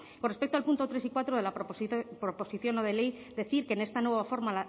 respecto al punto tres y cuatro de la proposición no de ley decir que en esta nueva